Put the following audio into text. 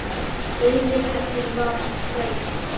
Yfir henni var reisn.